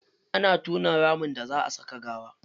Ana tona ramin da za a saka gawa.